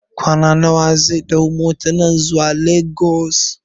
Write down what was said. kwana nawa zai ɗau motan nan zuwa Lagos?